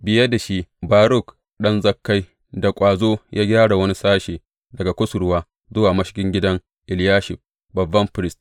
Biye da shi, Baruk ɗan Zakkai da ƙwazo ya gyara wani sashe, daga kusurwa zuwa mashigin gidan Eliyashib babban firist.